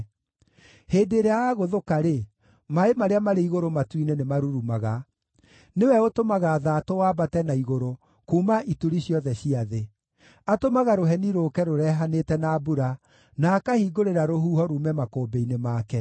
Hĩndĩ ĩrĩa agũũthũka-rĩ, maaĩ marĩa marĩ igũrũ matu-inĩ nĩmarurumaga; nĩwe ũtũmaga thaatũ wambate na igũrũ kuuma ituri ciothe cia thĩ. Atũmaga rũheni rũũke rũrehanĩte na mbura, na akahingũrĩra rũhuho ruume makũmbĩ-inĩ make.